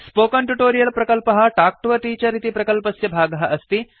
spoken tutorial प्रकल्पः talk to a teacher इति प्रकल्पस्य भागः अस्ति